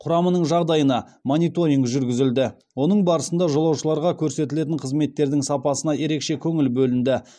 құрамының жағдайына мониторинг жүргізілді оның барысында жолаушыларға көрсетілетін қызметтердің сапасына ерекше көңіл бөлінді